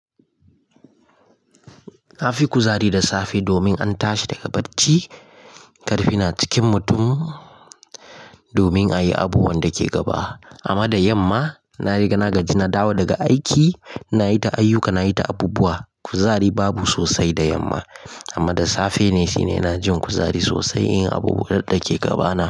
Na fi kuzari da safe domin an tashi daga bacci, ƙarfi na cikin mutum domin a yi abubuwan da ke gaba. Amma da yamma na riga na gaji, na dawo daga aiki, na yi ta ayyuka, na yi ta abubuwa. Kuzari babu sosai da yamma, amma da safe ne, shine ina jin kuzari sosai in abubuwan da ke gaba na.